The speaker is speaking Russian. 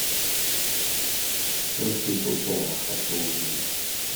сынки тусона хочу увидеть